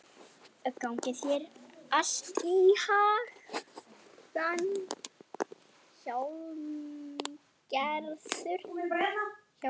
Gangi þér allt í haginn, Hjálmgerður.